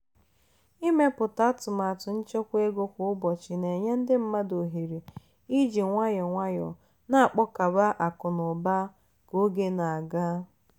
ịmepụta atụmatụ nchekwa ego kwa ụbọchị na-enye ndị mmadụ ohere iji nwayọọ nwayọọ na-akpakọba akụ na ụba ka oge na-aga.